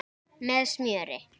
Með smjöri.